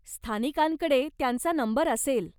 स्थानिकांकडे त्यांचा नंबर असेल.